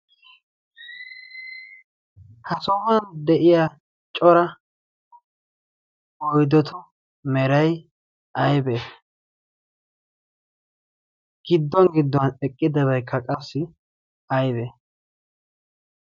ha sohuwan de7iya cora oidotu merai aibee? gidduwan gidduwan eqqidabaikka qassi aibee?